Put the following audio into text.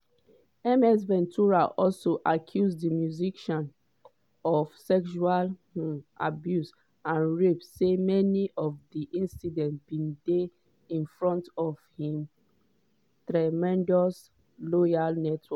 ms ventura also accuse di musician of sexual um abuse and rape say many of dis incidents bin dey in fromt of im "tremendous loyal network"